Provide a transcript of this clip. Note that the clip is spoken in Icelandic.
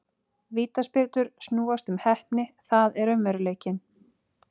Vítaspyrnur snúast um heppni, það er raunveruleikinn.